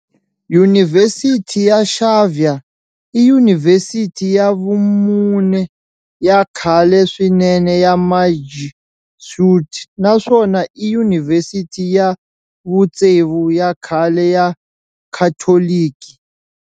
Yunivhesiti ya Xavier i Yunivhesiti ya vumune ya khale swinene ya Majesuit naswona i yunivhesiti ya vutsevu ya khale ya Khatoliki.